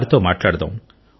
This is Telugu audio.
వారితో మాట్లాడుదాం